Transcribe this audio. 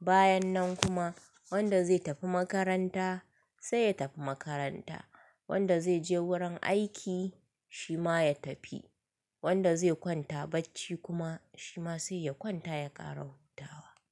Bayan nan kuma wanda zai tafi makaranta sai ya tafi makaranta, wanda zai je wurin aiki shi ma ya tafi, wanda zai kwanta bacci kuma shi ma sai ya kwanta ya ƙara hutawa.